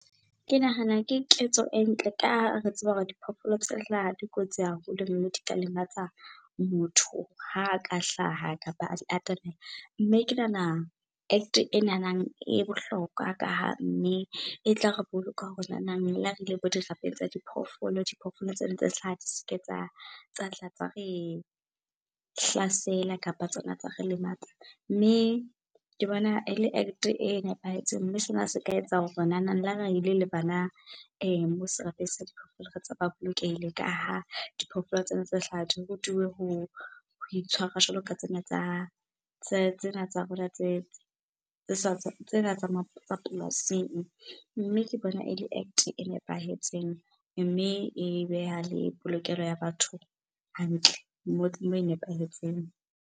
Ke nahana ke ketso e ntle ka ha re tseba hore diphoofolo tse hlaha di kotsi haholo, mme di ka lematsa motho ha ka hlaha kapa a di atamela. Mme ke nahana Act e nanang e bohlokwa ka ha mme e tla re boloka hore nanang le ha re ile bo dirapeng tsa diphoofolo, diphoofolo tsena tse hlaha di seke tsa, tsa tla tsa re hlasela kapa tsona tsa re lematsa. Mme ke bona ele Act e nepahetseng mme sena se ka etsa hore nanang le ha re ile le bana moo serapeng sa diphoofolo re ba bolokehile. Ka ha diphoofolo tsena tse hlaha di rutuwe ho itshwara jwalo ka tsena tsa, tsena tsa rona, tsena tsa polasing. Mme ke bona ele Act e nepahetseng mme e beha le polokeho ya batho hantle moo e nepahetseng.